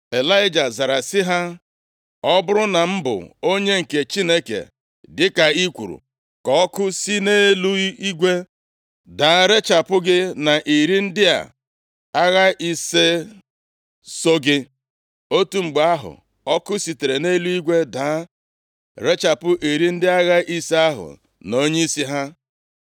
Ịlaịja zara sị ha, “Ọ bụrụ na m bụ onye nke Chineke dịka i kwuru, ka ọkụ si nʼeluigwe daa rechapụ gị na iri ndị a agha ise so gị.” Otu mgbe ahụ, ọkụ sitere nʼeluigwe daa rechapụ iri ndị agha ise ahụ na onyeisi ha.